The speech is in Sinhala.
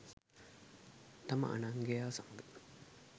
තම අනංගයා සමග